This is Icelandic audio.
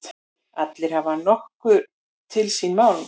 Allir hafa nokkuð til síns máls.